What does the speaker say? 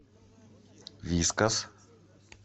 вискас